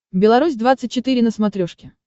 беларусь двадцать четыре на смотрешке